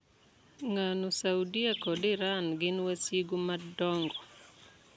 Ng'ano Saudia kod Iran gin wasigu madong'o ?